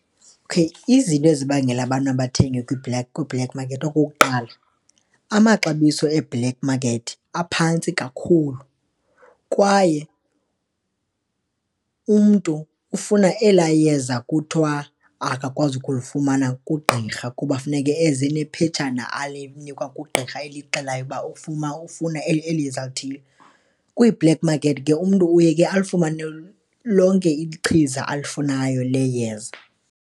Okay, izinto ezibangela abantu bathenga kwi-black market, okokuqala amaxabiso e-black market aphantsi kakhulu kwaye umntu ufuna elaa yeza kuthiwa akakwazi ukulufumana kugqirha kuba funeke eze nephetshana alinikwa kugqirha elixelayo uba ufuma ufuna eli yeza elithile. Kwi-black market ke umntu uye ke alifumane lonke ichiza alifunayo le yeza.